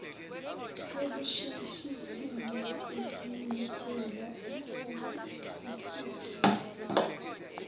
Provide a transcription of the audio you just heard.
okusheshisiwe kwesinyathelo sokukhuphula